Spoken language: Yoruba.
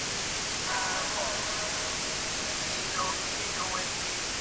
song playing